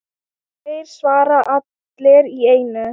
Þeir svara allir í einu.